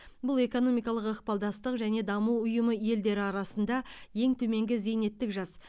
бұл экономикалық ықпалдастық және даму ұйымы елдері арасында ең төменгі зейнеттік жас